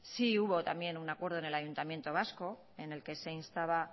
sí hubo también un acuerdo en el ayuntamiento vasco en el que se instaba